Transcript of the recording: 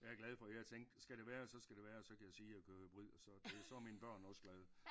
Jeg er glad for jeg tænkte skal det være så skal det være så kan jeg sige jeg kører hybrid og så det så er mine børn også glade